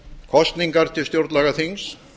kosningar til stjórnlagaþings